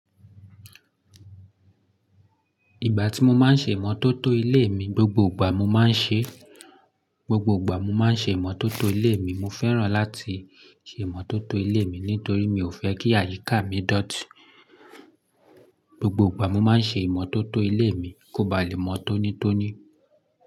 Ìgbà tí mo máa ń ṣe ìmọ́tótó ilé mi, gbogbo ìgbà mo máa ń ṣe, gbogbo ìgbà mo máa ń ṣe ìmọ́tótó ilé mi. Mo fẹ́ràn láti ṣe ìmọ́tótó ilé mi nítorí mi ò fẹ́ kí àyíká mi dọ̀tí. Gbogbo ìgbà mo máa ń ṣe ìmọ́tótó ilé mi kó ba lè mọ́ tónítóní.